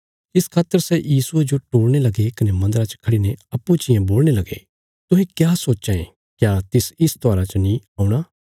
इस खातर सै यीशुये जो टोलणे लगे कने मन्दरा च खड़ीने अप्पूँ चियें बोलणे लगे तुहें क्या सोच्चां यें क्या तिस इस त्योहारा च नीं औणा